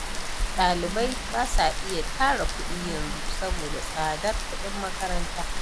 Ɗalibai ba sa iya tara kuɗi yanzu, saboda tsadar kuɗin makaranta.